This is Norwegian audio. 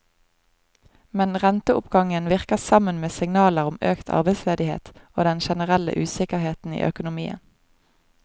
Men renteoppgangen virker sammen med signaler om økt arbeidsledighet og den generelle usikkerheten i økonomien.